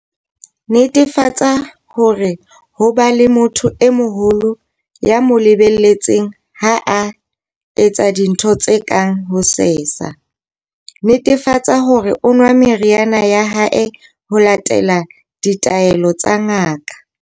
Netefatsa hore ho ba le motho e moholo ya mo le-beletseng ha a etsa dintho tse kang ho sesa. Netefatsa hore o nwa meriana ya hae ho latela ditaelo tsa ngaka.